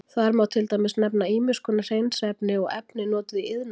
Þar má til dæmis nefna ýmiss konar hreinsiefni og efni notuð í iðnaði.